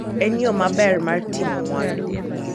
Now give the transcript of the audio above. En yo maber mar ting'o mwandu.